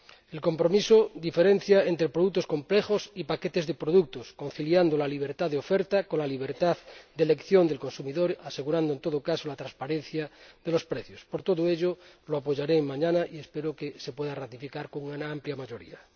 El compromiso diferencia entre productos complejos y paquetes de productos, conciliando la libertad de oferta con la libertad de elección del consumidor, asegurando, en todo caso, la transparencia de los precios. Por todo ello, lo apoyaré mañana, y espero que se pueda ratificar con una amplia mayoría.